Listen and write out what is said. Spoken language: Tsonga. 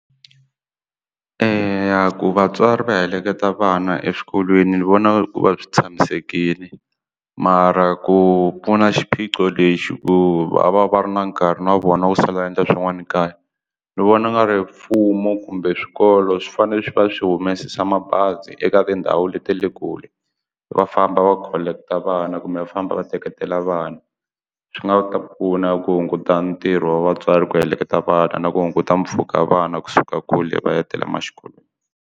Eya ku vatswari va heleketa vana eswikolweni ni vona ku va swi tshamisekile mara ku pfuna xiphiqo lexi ku va va va ri na nkarhi wa vona wu sala endla swin'wana ekaya ni vona nga ri mfumo kumbe swikolo swi fanele swi va swi humesa mabazi eka tindhawu leti ta le kule va famba va collect vana kumbe va famba va teketela vanhu swi nga ta pfuna ku hunguta ntirho wa vatswari ku heleketa vana na ku hunguta mpfhuka vana kusuka kule va ya tele ma xikolweni.